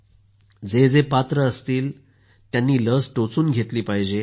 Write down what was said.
आणि जे जे पात्र ठरतील त्यांनी लस टोचून घेतली पाहिजे